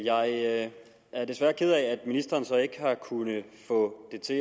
jeg er desværre ked af at ministeren så ikke har kunnet få det til